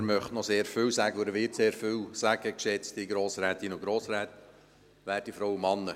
Er möchte noch sehr viel sagen und er wird sehr viel sagen, geschätzte Grossrätinnen und Grossräte, werte Frauen und Männer.